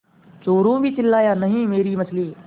चोरु भी चिल्लाया नहींमेरी मछली